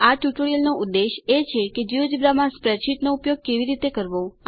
આ ટ્યુટોરીયલનો ઉદ્દેશ એ છે કે જિયોજેબ્રા માં સ્પ્રેડશીટનો ઉપયોગ કેવી રીતે કરવો